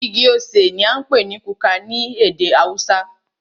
Igi osè ní a ń pé ní kuka ní ède haúsá.